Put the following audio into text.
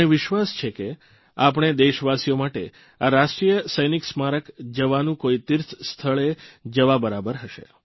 મને વિશ્વાસ છે કે આપણે દેશવાસીઓ માટે આ રાષ્ટ્રીય સૈનિક સ્મારક જવાનું કોઇ તિર્થસ્થળે જવા બરાબર હશે